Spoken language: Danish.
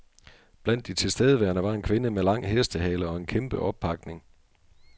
Blandt de tilstedeværende var en kvinde med lang hestehale og en kæmpe oppakning.